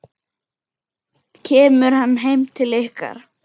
Kemur hann heim til ykkar?